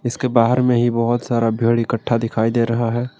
उसके बाहर में ही बहुत सारा भीड़ इकट्ठा दिखाई दे रहा है।